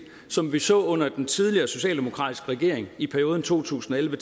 som vi så under den tidligere socialdemokratiske regering i perioden to tusind og elleve